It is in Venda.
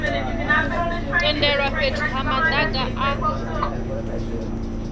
tendelwa fhethu ha madaka a